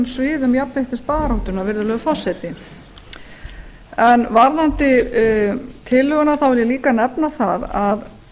sviðum jafnréttisbaráttunnar virðulegi forseti siv klárar ekki hér en varðandi tillöguna vil ég líka nefna að